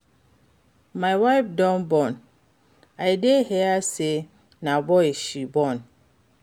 Your wife don born? I dey hear say na boy she born.